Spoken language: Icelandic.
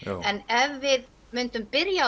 en ef við myndum byrja